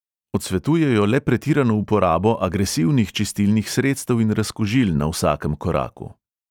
Odsvetujejo le pretirano uporabo agresivnih čistilnih sredstev in razkužil na vsakem koraku.